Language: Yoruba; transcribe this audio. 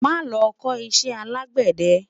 má lo kò iṣẹ alegbede